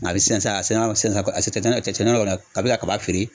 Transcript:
A ga a bɛ sɛnsɛn a sɛn san a sen tɛ na cɛncɛn na wali a be ka kaba feere